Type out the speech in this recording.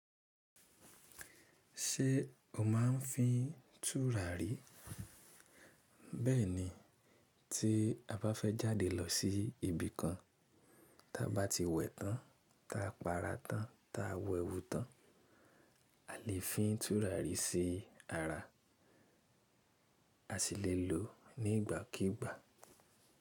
Ṣé o máa ń fín tùràrí? Bẹ́ẹ̀ni tí a bá fẹ́ jáde lọ sí ibi kan, ta bá ti wẹ tán, ta a pa ara tán, ta a wẹwú tán, a lè fín tùràrí sí ara. A sì lè lò ó ní ìgbàkígbà.